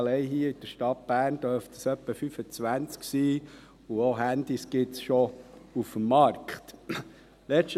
allein hier in der Stadt Bern dürften es etwa 25 sein, und auch Handys gibt es auf dem Markt schon.